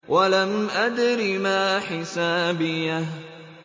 وَلَمْ أَدْرِ مَا حِسَابِيَهْ